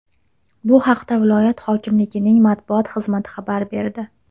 Bu haqda viloyat hokimligining matbuot xizmati xabar berdi .